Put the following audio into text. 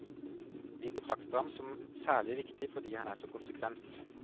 Vi betrakter ham som særlig viktig fordi han er så konsekvent.